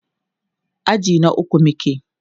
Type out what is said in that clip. aji na ukwu muke